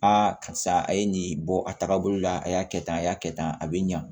karisa a ye nin bɔ a tagabolo la a y'a kɛ tan a y'a kɛ tan a bɛ ɲa